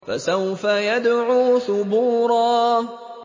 فَسَوْفَ يَدْعُو ثُبُورًا